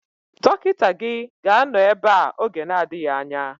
Dọkịta gị ga-anọ ebea oge na-adịghị anya